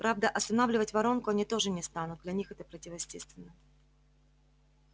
правда останавливать воронку они тоже не станут для них это противоестественно